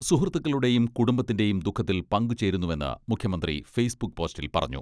സുഹൃത്തുക്കളുടെയും കുടുംബത്തിന്റെയും ദുഃഖത്തിൽ പങ്കുചേരുന്നുവെന്ന് മുഖ്യമന്ത്രി ഫേസ്ബുക്ക് പോസ്റ്റിൽ പറഞ്ഞു.